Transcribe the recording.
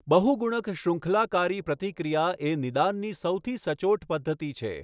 બહુગુણક શૃંખલાકારી પ્રતિક્રિયા એ નિદાનની સૌથી સચોટ પદ્ધતિ છે.